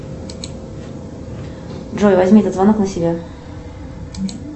джой возьми этот звонок на себя